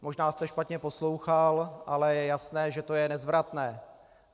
Možná jste špatně poslouchal, ale je jasné, že to je nezvratné.